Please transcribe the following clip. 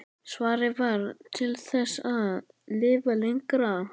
Svarið var: Til þess að lifa lengra.